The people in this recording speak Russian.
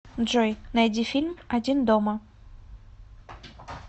джой найди фильм один дома